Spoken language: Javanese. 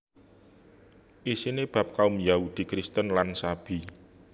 Isiné bab kaum Yahudi Kristen lan Sabi